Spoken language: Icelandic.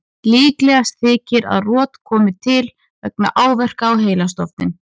Líklegast þykir að rot komi til vegna áverka á heilastofninn.